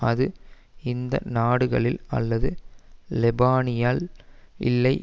அது இந்த நாடுகளில் அல்லது லெபனானில் இல்லை